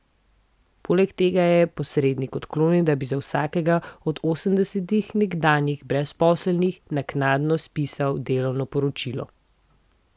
Poleg tega je posrednik odklonil, da bi za vsakega od osemdesetih nekdanjih brezposelnih naknadno spisal delovno poročilo.